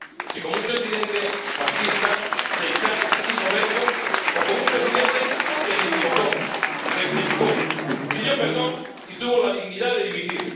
Si como un presidente machista, sectario y soberbio, o como un presidente que se equivocó, rectificó, pidió perdón y tuvo la dignidad de dimitir.